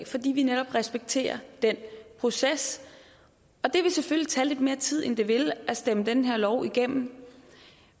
fordi vi netop respekterer den proces og det vil selvfølgelig tage lidt mere tid end det ville tage at stemme den her lov igennem